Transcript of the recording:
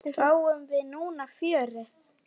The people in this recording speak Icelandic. Fáum við núna fjörið?